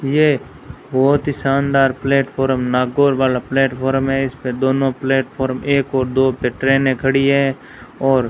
ये बहोत ही शानदार प्लेटफार्म नागौर वाला प्लेटफार्म है इस पे दोनों प्लेटफार्म एक और दो पे ट्रेने खड़ी है और --